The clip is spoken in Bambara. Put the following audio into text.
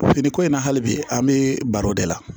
Fini ko in na hali bi an bɛ baro de la